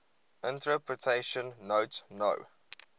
interpretation note no